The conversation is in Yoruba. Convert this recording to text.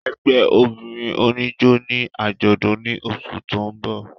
Ẹgbẹ obinrin onijó ni ajọdun ni oṣu ti n bọ.